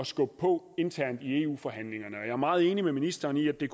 skubbe på internt i eu forhandlingerne jeg er meget enig med ministeren i at det